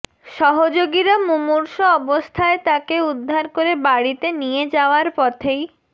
সহযোগীরা মুমূর্ষু অবস্থায় তাকে উদ্ধার করে বাড়িতে নিয়ে যাওয়ার পথেই